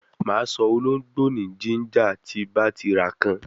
Ma so ologbo ni ginger ti ba ti ra kan